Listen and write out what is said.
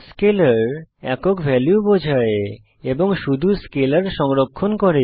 স্কেলের স্কেলার একক ভ্যালু বোঝায় এবং শুধু স্কেলার সংরক্ষণ করে